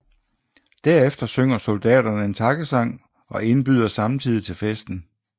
Derefter synger soldaterne en takkesang og indbyder samtidig til festen